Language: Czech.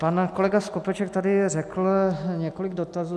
Pan kolega Skopeček tady řekl několik dotazů.